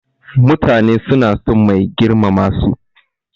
Mutane suna son mai girmama su.